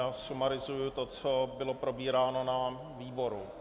Já sumarizuji to, co bylo probíráno na výboru.